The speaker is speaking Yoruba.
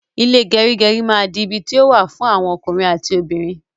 Ile gerigeri ma di ibi ti o wa fun awon okunrin ati obinrin